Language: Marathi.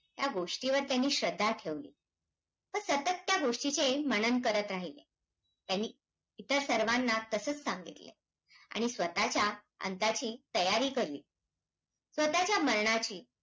कारणाने मानसिक अंतरी आहे हे चारी बाग वेगाने महामार्ग जोडले जातात याचा अर्थ त्यांची